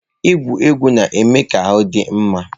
Igwuri egwu na-eme ka ahụ dị mma.